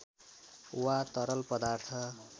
वा तरल पदार्थ